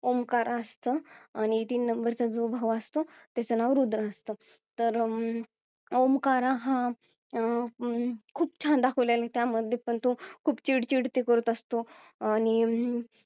ओमकार असत आणि तीन नंबर च जो भाऊ असतो त्याचं नाव रुद्र असतो तर अं ओमकार हा अं खूप छान दाखवलेला आहे त्यामध्ये पण तो खूप चिडचिड ते करत असतो आणि अं